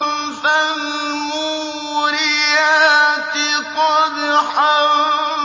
فَالْمُورِيَاتِ قَدْحًا